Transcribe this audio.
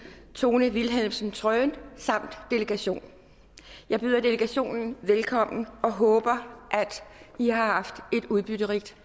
tone wilhelmsen trøen samt delegation jeg byder delegationen velkommen og håber i har haft et udbytterigt